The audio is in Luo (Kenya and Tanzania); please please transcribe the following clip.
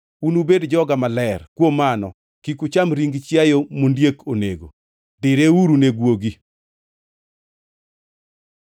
“Unubed joga maler. Kuom mano kik ucham ring chiayo mondiek onego; direuru ne guogi.